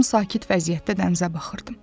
Tam sakit vəziyyətdə dənizə baxırdım.